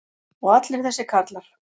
og allir þessir karlar.